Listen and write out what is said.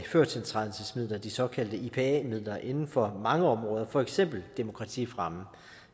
førtiltrædelsesmidler de såkaldte i ipa midler inden for mange områder for eksempel demokratifremme